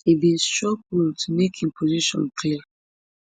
e bin struggle to make im position clear